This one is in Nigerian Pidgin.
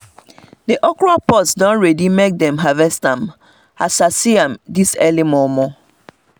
the okra pods don ready make them harvest am as i see am this early momo